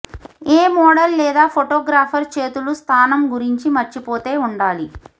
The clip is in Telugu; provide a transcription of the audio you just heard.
ఏ మోడల్ లేదా ఫోటోగ్రాఫర్ చేతులు స్థానం గురించి మర్చిపోతే ఉండాలి